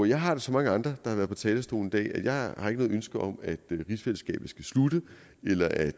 jeg har det som mange andre der har været på talerstolen i dag at jeg ikke har noget ønske om at rigsfællesskabet skal slutte eller at